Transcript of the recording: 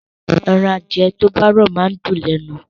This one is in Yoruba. Ẹran adìẹ tó bá rọ̀ máa ń dùn lẹ́nu